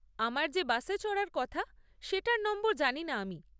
আমার যে বাসে চড়ার কথা সেটার নম্বর জানি না আমি।